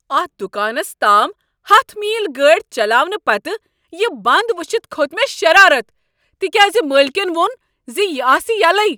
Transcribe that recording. اتھ دُکانس تام ہتھَ میل گٲڑۍ چللاونہٕ پتہٕ یہ بنٛد وٕچھتھ کھوٚت مےٚ شرارتھ تکیاز مٲلکن ووٚن ز یہ آسہ یلے۔